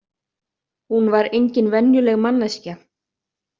Hún var engin venjuleg manneskja.